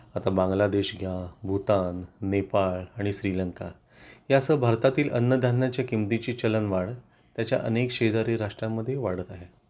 आता बांगलादेश घ्या भूतान, नेपाळ आणि श्रीलंका यासह भारतातील अन्नधान्याच्या किमतीची चलनवाढ त्याच्या अनेक शेजारी राष्ट्रांमध्ये ही वाढत आहे